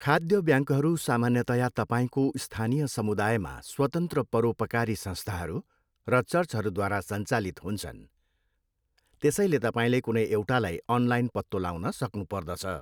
खाद्य ब्याङ्कहरू सामान्यतया तपाईँको स्थानीय समुदायमा स्वतन्त्र परोपकारी संस्थाहरू र चर्चहरूद्वारा सञ्चालित हुन्छन्, त्यसैले तपाईँले कुनै एउटालाई अनलाइन पत्तो लाउन सक्नुपर्दछ।